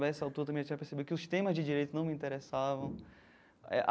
A essa altura também já percebi que os temas de direito não me interessavam.